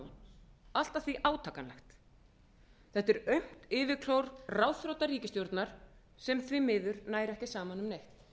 áðan allt að því átakanlegt þetta er aumt yfirklór ráðþrota ríkisstjórnar sem því miður nær ekki saman um neitt